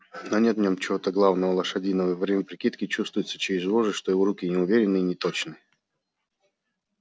но нет в нем чего-то главного лошадиного и во время прикидки чувствуется через вожжи что его руки неуверенны и неточны